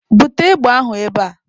Bute égbè ahụ ebe a!